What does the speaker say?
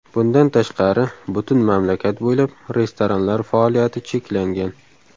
Bundan tashqari, butun mamlakat bo‘ylab restoranlar faoliyati cheklangan.